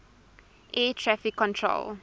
air traffic control